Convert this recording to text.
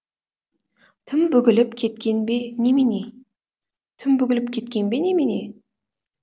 тым бүгіліп кеткен бе немене тым бүгіліп кеткен бе немене